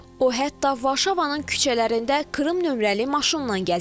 O hətta Varşavanın küçələrində Krım nömrəli maşınla gəzir.